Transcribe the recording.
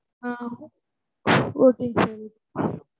ஆஹ் okay ங்க sir.